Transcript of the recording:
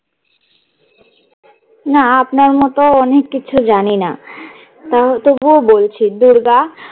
না আপনার মত অনেক কিছু জানি না তাও তবুও বলছি- দুর্গা